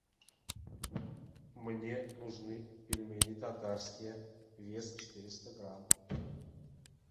мне нужны пельмени татарские вес четыреста грамм